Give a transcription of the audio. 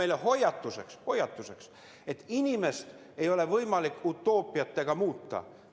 See on meile hoiatuseks, et inimest ei ole võimalik utoopiatega muuta.